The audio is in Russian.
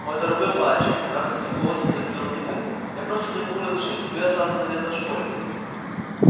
мой дорогой мальчик с мягкостью в голосе заговорил диппет я просто не могу разрешить тебе остаться на лето в школе